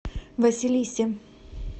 василисе